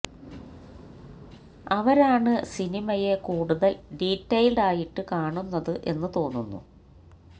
അവരാണ് സിനിമയെ കൂടുതൽ ഡീറ്റെയിൽഡ് ആയിട്ട് കാണുന്നത് എന്ന് തോന്നുന്നു